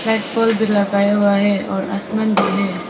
Red pole भी लगाया हुआ है और आसमान भी है।